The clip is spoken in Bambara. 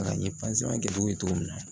A n ye kɛ u ye cogo min na